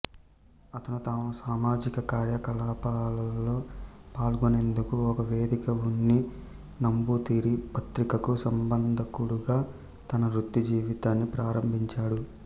అతను తన సామాజిక కార్యకలాపాలలో పాల్గొనేందుకు ఒక వేదికగా ఉన్ని నంబూతిరి పత్రికకు సంపాదకుడిగా తన వృత్తి జీవితాన్ని ప్రారంభించాడు